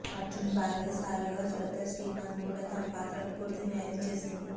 అర్జున్ భార్య సారాగా శ్రద్ధా శ్రీనాథ్ కూడా తన పాత్రకు పూర్తి న్యాయం చేసింది